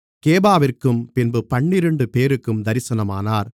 கேபாவிற்கும் பின்பு பன்னிரண்டுபேருக்கும் தரிசனமானார்